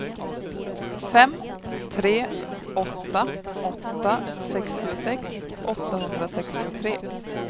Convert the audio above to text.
fem tre åtta åtta sextiosex åttahundrasextiotre